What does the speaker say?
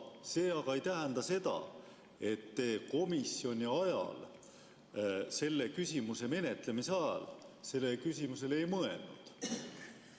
See aga ei tähenda seda, et te komisjonis selle küsimuse menetlemise ajal sellele küsimusele ei mõelnud.